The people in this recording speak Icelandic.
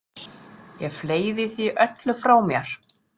Ég fleygði því öllu frá mér.